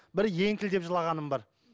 бір еңкілдеп жылағаным бар